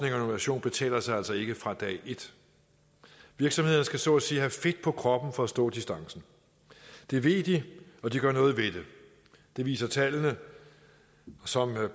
innovation betaler sig altså ikke fra dag et virksomhederne skal så at sige have fedt på kroppen for at stå distancen det ved de og de gør noget ved det det viser tallene som herre